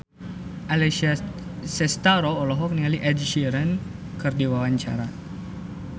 Alessia Cestaro olohok ningali Ed Sheeran keur diwawancara